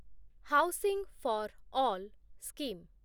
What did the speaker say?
housing for all scheme